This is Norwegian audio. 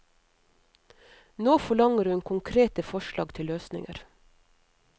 Nå forlanger hun konkrete forslag til løsninger.